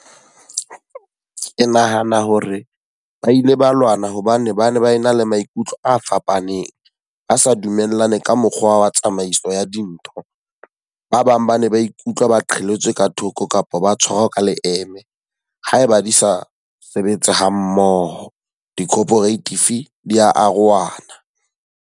Ke nahana hore ba ile ba lwana hobane ba ne ba e na le maikutlo a fapaneng, a sa dumellane ka mokgwa wa tsamaiso ya dintho. Ba bang ba ne ba ikutlwa ba qhelletswe ka thoko kapa ba tshwarwa ka leeme haeba di sa sebetse ha mmoho. Di-cooperative di a arohana.